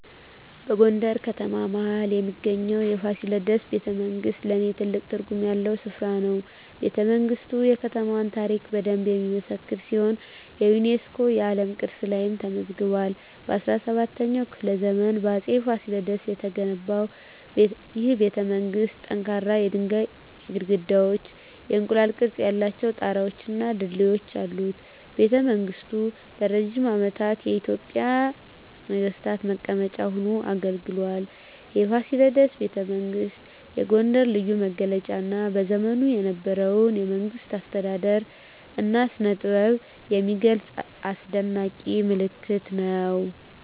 በጎንደር ከተማ መሀል ላይ የሚገኘው የፋሲለደስ ቤተመንግሥት ለኔ ትልቅ ትርጉም ያለው ስፍራ ነው። ቤተመንግስቱ የከተማዋን ታሪክ በደንብ የሚመሰክር ሲሆን የዩኔስኮ የዓለም ቅርስ ላይም ተመዝግቧል። በ17ኛው ክፍለ ዘመን በአፄ ፋሲለደስ የተገነባው ይህ ቤተመንግሥት ጠንካራ የድንጋይ ግድግዳዎች፣ የእንቁላል ቅርፅ ያላቸው ጣራወች እና ድልድዮች አሉት። ቤተመንግሥቱ ለረጅም ዓመታት የኢትዮጵያ ነገሥታት መቀመጫ ሆኖ አገልግሏል። የፋሲለደስ ቤተመንግሥት የጎንደርን ልዩ መገለጫ እና በዘመኑ የነበረውን የመንግሥት አስተዳደር እና ስነጥበብ የሚገልጽ አስደናቂ ምልክት ነው።